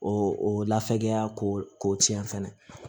O lafiya ko tiɲɛ fɛnɛ